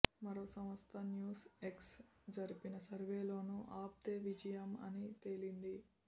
మరో సంస్థ news X జరిపిన సర్వేలోనూ ఆప్దే విజయం అని తేలింది